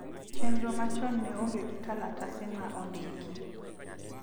Chenro machon ne onge gi kalatase ma ondiki